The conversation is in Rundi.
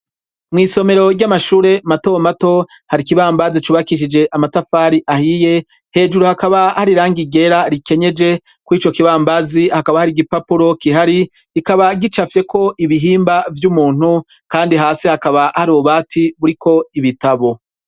Mw'isomero ry'amashure matomato har'ikibambazi cubakishije amatafari ahiye, hejuru hakaba har'irangi ryera rikenyeje. Kw'icokibambazi hakaba har'igipapuro gihari kikaba gicapfyeko ibihimba vy'umuntu kandi hasi hakaba har'ububati buriko ibitabo.